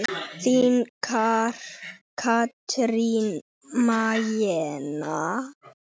Þín Katrín Magnea.